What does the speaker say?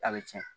A bɛ tiɲɛ